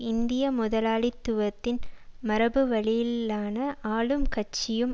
இந்திய முதலாளித்துவத்தின் மரபு வழியிலான ஆளும் கட்சியும்